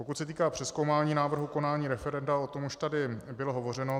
Pokud se týká přezkoumání návrhu konání referenda, o tom už tady bylo hovořeno.